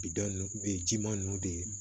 Bidɔn u ye jiman ninnu de ye